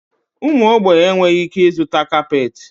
Ụmụ ogbenye enweghị ike ịzụta kapeeti.